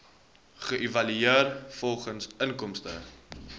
geëvalueer volgens inkomste